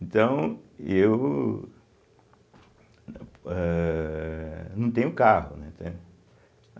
Então, eu ãhh não tenho carro, né, entende.